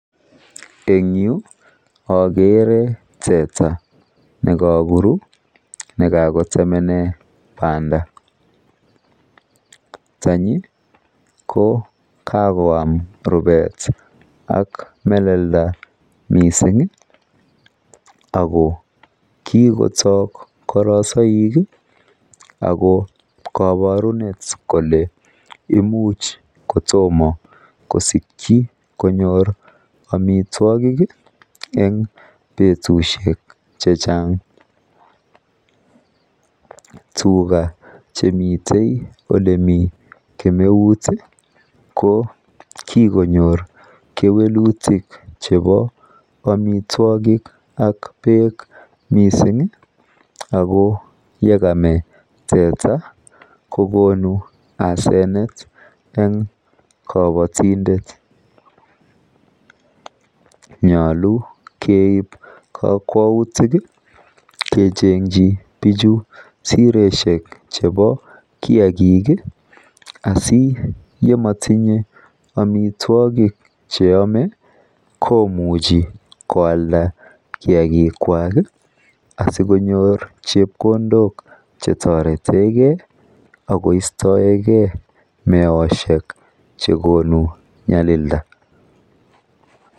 en yu ogere teta negakoru negakotemene banda, tenyi ko kagoam rubeet ak melelda mising iih ago kigotok korosoik iih ago koborunet kole imuch kotomo kosikyi konyoor omitwogik iih en betushek chechang, tuga chenyite ko lemii kemeut iih ko kigonyoor kewelutik chebo omitwogik ak beek mising iih ago yegame teta kogonu asenet en kobotindet, nyolu keib kokwoutik iih kechenkyi bichu siroshek chebo kiagiik iihasiyemotinye omitwogik cheome komuche koalda kiagiik kwaak iih asigonyoor chepkondook chetoretegee agoistoegee meoshek chekonu nyalilda.